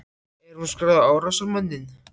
Er hún skráð á árásarmanninn?